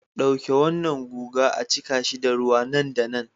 Dauke wannan guga a cika shi da ruwa nan da nan